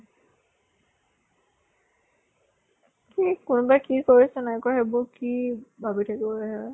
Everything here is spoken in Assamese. কোনোবাই কি কৰিছে নাই কৰা সেইবোৰ কি ভাবি থাকিব লাগে ।